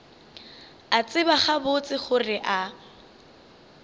a tseba gabotse gore a